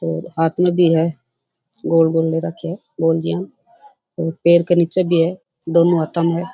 और हाथ मा भी है गोल गोल ले रख्या है और पैर के नीचे भी है दोनो हाथा में है।